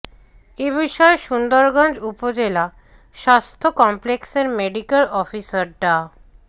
এ বিষয়ে সুন্দরগঞ্জ উপজেলা স্বাস্থ্য কমপ্লেক্সের মেডিক্যাল অফিসার ডা